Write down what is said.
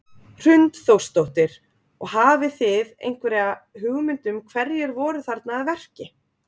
Hrund Þórsdóttir: Og hafi þið einhverja hugmynd um hverjir voru þarna að verki?